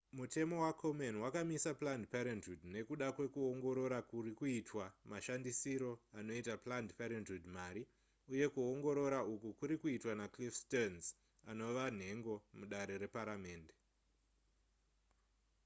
mutemo wakomen wakamisa planned parenthood nekuda kwekuongorora kuri kuitwa mashandisiro anoita planned parenthood mari uye kuongorora uku kuri kuitwa nacliff stearns anova nhengo mudare reparamende